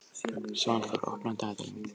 Svanþór, opnaðu dagatalið mitt.